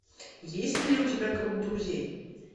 есть ли у тебя круг друзей